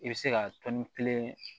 I bɛ se ka tɔni kelen